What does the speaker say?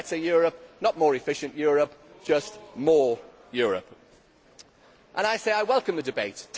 Not better Europe, not more efficient Europe, just more Europe. And I say that I welcome the debate.